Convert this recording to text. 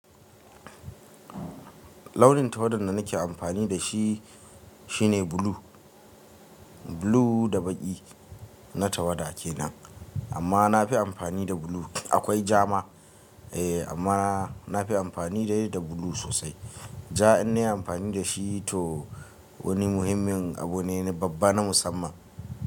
Launin tawadan da nake amfani da shi, shine blue. Blue da baƙi na tawada kenan. Amma na fi amfani da blue. Akwai jama eh, amma na fi amfani dai da blue sosai. Ja in na yi amfani da shi to wani muhimmin abu ne, babba na musamman.